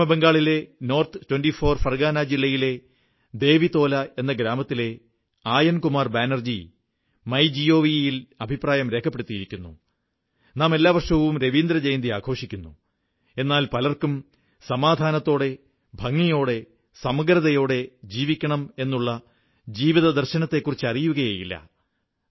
പശ്ചിമബംഗാളിലെ നോർത്ത് 24 ഫർഗാന ജില്ലയിലെ ദേവിതോല എന്ന ഗ്രാമത്തിലെ ആയൻകുമാർ ബാനർജി മൈജിഒവി ൽ അഭിപ്രായം രേഖപ്പെടുത്തിയിരിക്കുന്നു നാം എല്ലാ വർഷവും രവീന്ദ്രജയന്തി ആഘോഷിക്കുന്നു എന്നാൽ പലർക്കും സമാധാനത്തോടെ ഭംഗിയോടെ സമഗ്രതയോടെ ജീവിക്കണമെന്ന ജീവിതദർശനത്തെക്കുറിച്ച് അറിയുകയേയില്ല